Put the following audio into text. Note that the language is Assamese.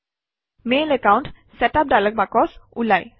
mail account setup dialog box ওলায়